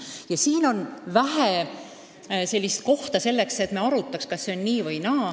Ja siin on vähe kohta selleks, et me arutaks, kas see on nii või naa.